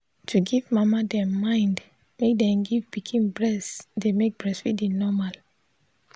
to give mama them mind make them give pikin breast dey make breastfeeding normal.